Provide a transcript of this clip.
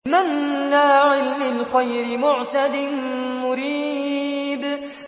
مَّنَّاعٍ لِّلْخَيْرِ مُعْتَدٍ مُّرِيبٍ